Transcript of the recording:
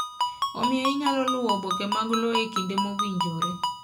Omiyo inyalo luwo oboke mag lowo e kinde mowinjore.